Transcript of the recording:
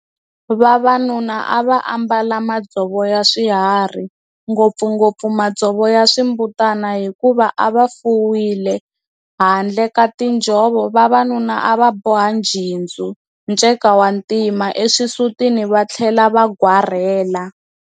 Vavanuna a va ambala madzovo ya swihari, ngopfungopfu madzovo ya swimbutana hikuva a va fuwile. Handle ka tinjhovo, vavanuna a va boha njhindzu, nceka wa ntima, eswisutini va tlhela va gwarela.